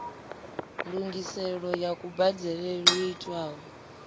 ndungiselo ya kubadelele yo itwaho